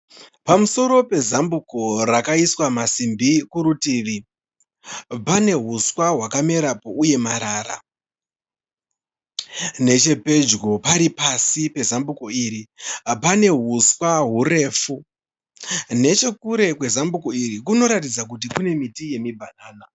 Pamusoro pezambuko rakaiswa masimbi kurutivi, pane uswa hwakamerapo uye marara. Nechepedyo pari pasi pezambuko iri pane huswa hurefu, nechekure kwezambuko iri kunoratidza kuti kune miti yemibhanana.